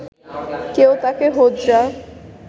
কেউ ডাকে হোজ্জা